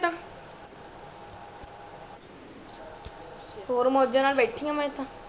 ਅੱਛਾ ਔਰ ਮੌਜਾਂ ਨਾਲ ਬੈਠੀ ਆ ਮੈਂ ਤਾ